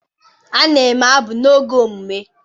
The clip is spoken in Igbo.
A na-eme abụ n'oge emume.